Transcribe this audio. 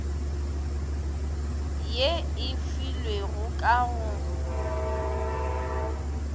ye e filwego ka go